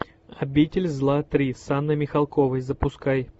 обитель зла три с анной михалковой запускай